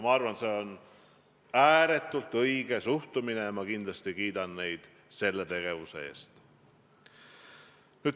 Ma arvan, et see on ääretult õige suhtumine, ja ma kindlasti kiidan neid selle eest.